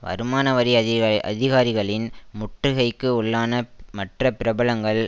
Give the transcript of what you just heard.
வருமானவரி அதிக அதிகாரிகளின் முட்டுகைக்கு உள்ளான மற்ற பிரபலங்கள்